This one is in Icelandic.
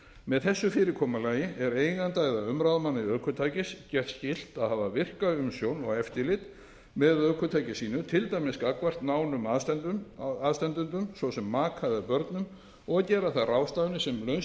með þessu fyrirkomulagi er eiganda eða umráðamanni ökutækis gert skylt að hafa virka umsjón og eftirlit með ökutæki sínu til dæmis gagnvart nánum aðstandendum svo sem maka eða börnum og gera þær ráðstafanir sem nauðsynlegar